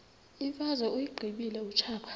imfazwe uyiqibile utshaba